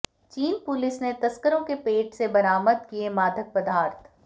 चीन पुलिस ने तस्करों के पेट से बरामद किए मादक पदार्थ